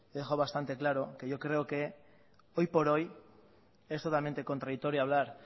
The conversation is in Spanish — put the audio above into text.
dejado bastante claro que yo creo que hoy por hoy es totalmente contradictorio hablar